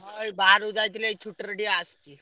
ହଁ ଏଇ ବାହାରକୁ ଯାଇଥିଲି ଏଇ ଛୁଟିରେ ଟିକେ ଆସିଛି।